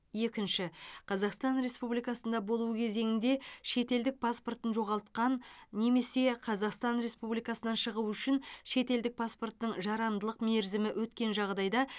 екінші қазақстан республикасында болу кезеңінде шетелдік паспортын жоғалтқан немесе қазақстан республикасынан шығу үшін шетелдік паспортының жарамдылық мерзімі өткен жағдайда